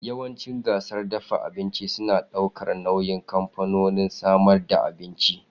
Yawancin gasar dafa abinci suna daukar nauyin kamfanonin samar da abinci.